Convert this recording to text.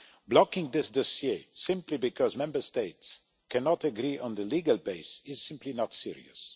Blocking this dossier simply because Member States cannot agree on the legal base is simply not serious.